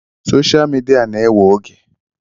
Soshal midia na-ewe oge.